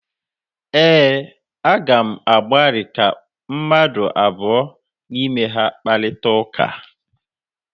ee, Aga m agbalị ka mmadụ abụọ n’ime ha kparịta ụka